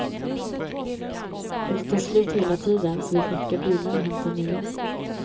Och de tar slut hela tiden, så vi får skicka bilar och hämta nya.